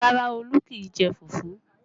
Rárá, Olu kì í jẹ fufu.